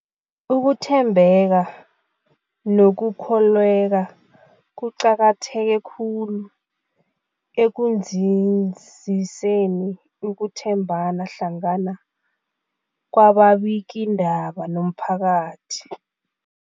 Ukuthembeka nokukholweka kuqakatheke khulu ekunzinziseni ukuthembana hlangana kwababikiindaba nomphakathi.